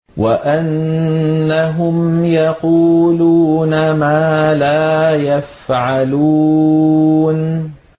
وَأَنَّهُمْ يَقُولُونَ مَا لَا يَفْعَلُونَ